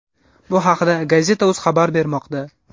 Bu haqida Gazeta.uz xabar bermoqda.